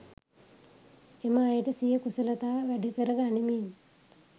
එම අයට සිය කුසලතා වැඩිකර ගනිමින්